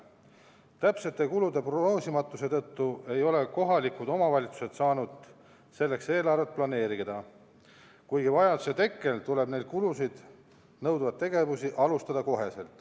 Täpsete kulude prognoosimatuse tõttu ei ole kohalikud omavalitsused saanud selleks eelarvet planeerida, kuigi vajaduse tekke korral tuleb neid kulusid nõudvaid tegevusi alustada kohe.